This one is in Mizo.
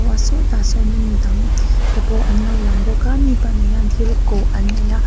sawtah sawn in midang tepawh anlo lang bawka mi pahnih hian thil kawh annei a.